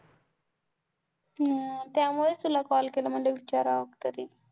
त्यामुळे तुला Call केला म्हणलं विचारावं तरी,